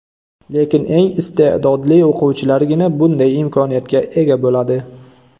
Lekin eng iste’dodli o‘quvchilargina bunday imkoniyatga ega bo‘ladi.